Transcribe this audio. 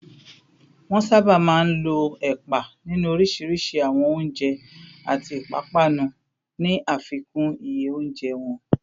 Wọ́n sábà máa ń lo ẹ̀pà nínú oríṣiríṣi àwọn oúnjẹ àti ìpápánu, ní àfikún iye oúnjẹ wọn